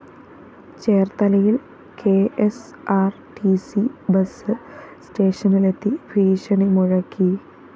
ചേര്‍ത്തലയില്‍ K S R T C bus സ്റ്റേഷനിലെത്തി ഭീഷണിമുഴക്കി